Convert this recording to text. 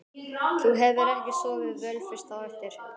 Þú hefur ekki sofið vel fyrst á eftir?